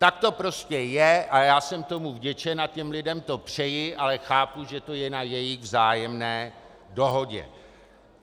Tak to prostě je a já jsem tomu vděčen a těm lidem to přeji, ale chápu, že to je na jejich vzájemné dohodě.